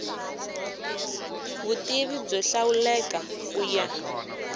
vutivi byo hlawuleka ku ya